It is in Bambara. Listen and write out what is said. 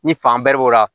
Ni fan bɛribo la